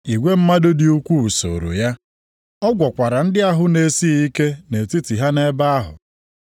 Igwe mmadụ dị ukwuu sooro ya. Ọ gwọkwara ndị ahụ na-esighị ike nʼetiti ha nʼebe ahụ.